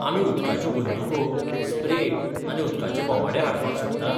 आमी उदकाच्यो बंदूको, स्प्रे आनी उदकाचे बोमाडे हाडपाक शकतात?